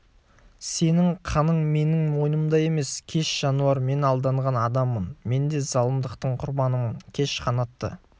сенің қаның менің мойнымда емес кеш жануар мен алданған адаммын мен де залымдықтың құрбанымын кеш қанатты